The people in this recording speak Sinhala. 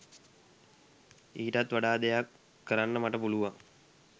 ඊටත් වඩා දෙයක් කරන්න මට පුළුවන්